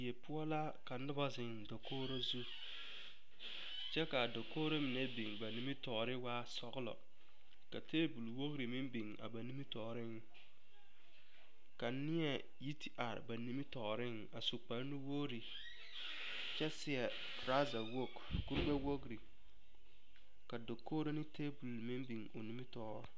Die poɔ la ka noba zeŋ dakogiro zu kyɛ kaa dakogiro mine biŋ nimitɔɔre waa sɔgelɔ ka taabol wogiri meŋ biŋ a ba nimitɔɔreŋ ka neɛ yi te are ba nimitɔɔreŋ a su kparre wogiri kyɛ seɛ toraaza wogi kurigbɛwogiri ka dakogiro ne taabol meŋ biŋ o nimitɔɔre